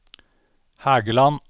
Hægeland